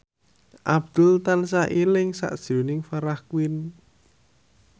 Abdul tansah eling sakjroning Farah Quinn